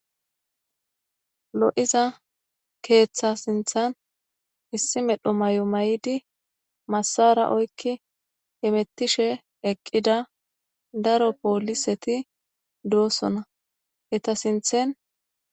Lo7iza keeththaa sinththan issi medho maayo mayidi massaara oykki hemeththishe eqqida daro poolisethi doosona; etha sinththen.